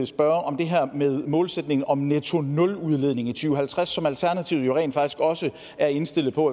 spørge om det her med målsætningen om nettonuludledning i to tusind og halvtreds som alternativet jo rent faktisk også er indstillet på